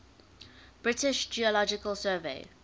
british geological survey